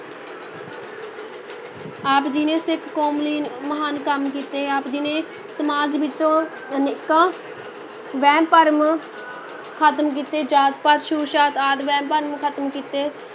ਆਪ ਜੀ ਨੇ ਸਿੱਖ ਕੌਮ ਲਈ ਮਹਾਨ ਕੰਮ ਕੀਤੇ, ਆਪ ਜੀ ਨੇ ਸਮਾਜ ਵਿੱਚੋਂ ਅਨੇਕਾਂ ਵਹਿਮ ਭਰਮ ਖ਼ਤਮ ਕੀਤੇ, ਜਾਤ ਪਾਤ, ਛੂਤ ਛਾਤ ਆਦਿ ਵਹਿਮ ਭਰਮ ਖ਼ਤਮ ਕੀਤੇ।